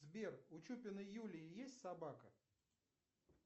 сбер у чупиной юлии есть собака